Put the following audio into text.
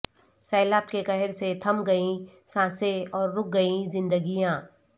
سیلاب کے قہر سے تھم گئیں سانسیں اور رک گئیں زندگیاں